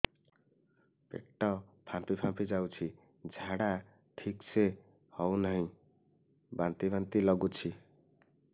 ପେଟ ଫାମ୍ପି ଯାଉଛି ଝାଡା ଠିକ ସେ ହଉନାହିଁ ବାନ୍ତି ବାନ୍ତି ଲଗୁଛି